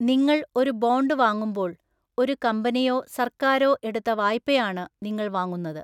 നിങ്ങൾ ഒരു ബോണ്ട് വാങ്ങുമ്പോൾ, ഒരു കമ്പനിയോ സർക്കാരോ എടുത്ത വായ്പയാണ് നിങ്ങൾ വാങ്ങുന്നത്.